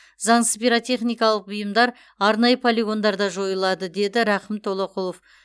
заңсыз пиротехникалық бұйымдар арнайы полигондарда жойылады деді рақым толоқұлов